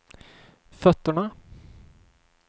fötterna